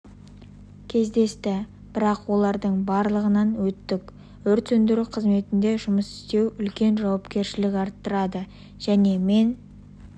кездесті бірақ олардың барлығынан өттік өрт сөндіру қызметінде жұмыс істеу үлкен жауапкершілік арттырады және мен